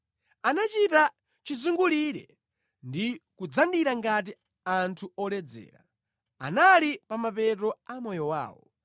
Anachita chizungulire ndi kudzandira ngati anthu oledzera; anali pa mapeto a moyo wawo.